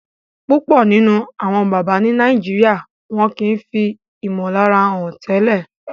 púpọ nínú Àwọn bàbá ní Nàìjíríà wón kí fí imolara hàn tẹlẹ